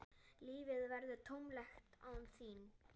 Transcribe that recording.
Lífið verður tómlegt án þín.